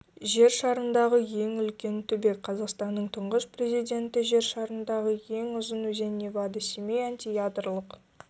жер шарындағы ең үлкен түбек қазақстанның тұңғыш президенті жер шарындағы ең ұзың өзен невада семей антиядролық